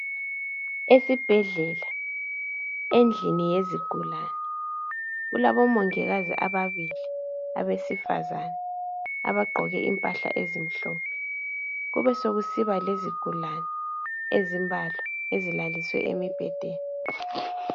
Esibhedlela endlini yezigulani kulabomongikazi ababili abesifazana abagqoke impahla ezimhlophe, kubesekusiba lezigulani ezimbalwa ezilaliswe embhedeni.